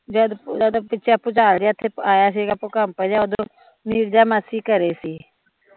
ਜਦ ਭੁਚਾਲ ਜਿਹਾ ਏਥੇ ਆਇਆ ਸੀਗਾ ਭੂਕਪ ਜਿਹਾ ਉਦੋਂ ਨੀਰਜਾ ਮਾਸੀ ਘਰੇ ਸੀ